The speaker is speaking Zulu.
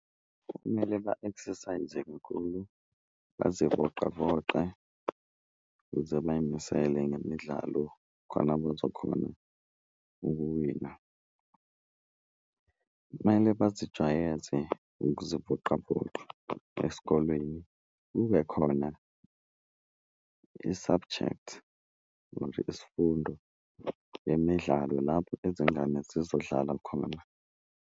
Kumele ba-exercise-e kakhulu, bazivoqavoqe ukuze bayimisele ngemidlalo khona bazokhona ukuwina, kumele bazijwayeze ukuzivoqavoqa esikolweni. Kube khona i-subject noma nje isifundo yemidlalo lapho izingane zizodlala khona.